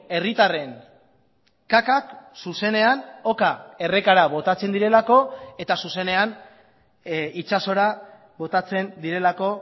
herritarren kakak zuzenean oka errekara botatzen direlako eta zuzenean itsasora botatzen direlako